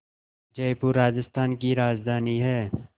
जयपुर राजस्थान की राजधानी है